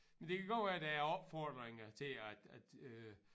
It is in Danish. Men det kan godt være der er opfordringer til at at øh